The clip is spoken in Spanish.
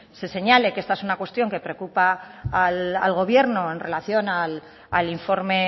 se señale que es una cuestión que preocupa al gobierno en relación al informe